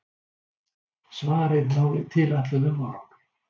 Svarið náði tilætluðum árangri.